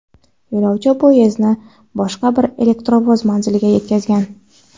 Yo‘lovchi poyezdini boshqa bir elektrovoz manziliga yetkazgan.